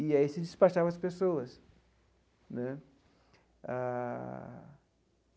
E aí se despachavam as pessoas né ah.